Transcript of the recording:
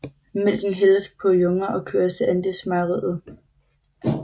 Mælken hældes på junger og køres til andelsmejeriet